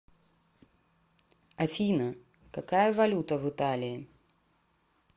афина какая валюта в италии